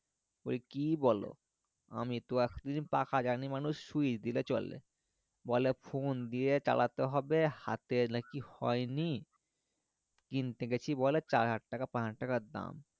ওই কি বলো আমি তো এতদিন পাখা জানি মানুষ switch দিলে চলে বলে phone দিয়ে চালাতে হবে হাতে নাকি হয়নি কিনতে গেছি বলে নাকি চার হাজার টাকা পাঁচ হাজার টাকা দাম